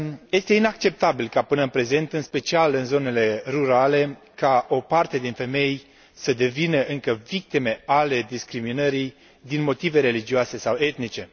Este inacceptabil ca, până în prezent, în special în zonele rurale, o parte din femei să devină încă victime ale discriminării din motive religioase sau etnice.